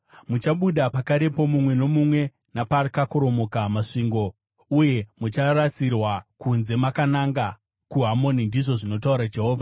Muchabuda pakarepo mumwe nomumwe, napakakoromoka masvingo, uye mucharasirwa kunze makananga kuHamoni,” ndizvo zvinotaura Jehovha.